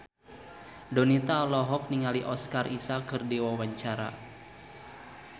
Donita olohok ningali Oscar Isaac keur diwawancara